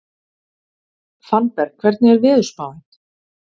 Fannberg, hvernig er veðurspáin?